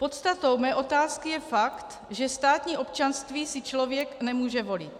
Podstatou mé otázky je fakt, že státní občanství si člověk nemůže volit.